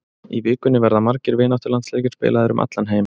Í vikunni verða margir vináttulandsleikir spilaðir um allan heim.